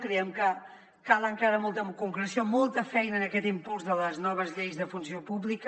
creiem que cal encara molta concreció molta feina en aquest impuls de les noves lleis de funció pública